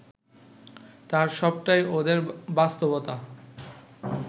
তার সবটাই ওদের বাস্তবতা